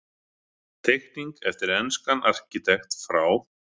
Teikning eftir enskan arkitekt frá